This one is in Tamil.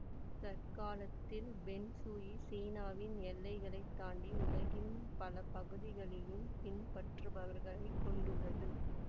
தற்காலத்தில் பெங் சுயி சீனாவின் எல்லைகளைத் தாண்டி உலகின் பல பகுதிகளிலும் பின்பற்றுபவர்களைக் கொண்டுள்ளது